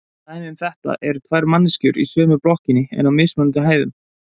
Dæmi um þetta eru tvær manneskjur í sömu blokkinni en á mismunandi hæðum.